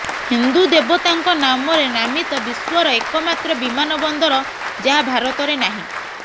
ହିନ୍ଦୁ ଦେବତାଙ୍କ ନାମରେ ନାମିତ ବିଶ୍ୱର ଏକମାତ୍ର ବିମାନବନ୍ଦର ଯାହା ଭାରତରେ ନାହିଁ